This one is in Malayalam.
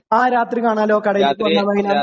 ആ രാത്രി കാണാല്ലൊ. കടയിലേക്ക് വന്നാൽമതി